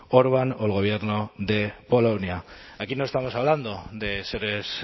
orbán o el gobierno de polonia aquí no estamos hablando de seres